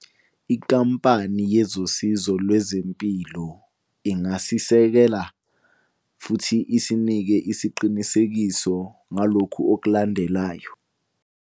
Inkampani yezosizo lwezempilo ingasisekela futhi isinike isiqinisekiso ngalokhu okulandelayo.